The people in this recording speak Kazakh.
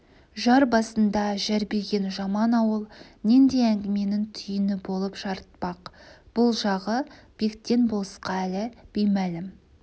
жар басында жәрбиген жаман ауыл нендей әңгіменің түйіні болып жарытпақ бұл жағы бектен болысқа әлі беймәлім